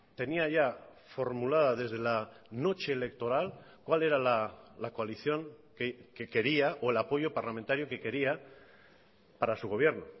tenía ya formulada desde la noche electoral cuál era la coalición que quería o el apoyo parlamentario que quería para su gobierno